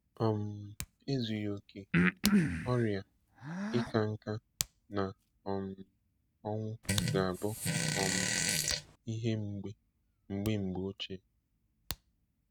um Ezughị okè, ọrịa, ịka nká, na um ọnwụ ga-abụ um ihe mgbe mgbe ochie.